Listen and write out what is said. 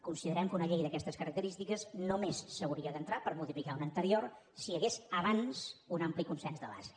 considerem que una llei d’aquestes característiques només s’hauria d’entrar per modificar una anterior si hi hagués abans un ampli consens de base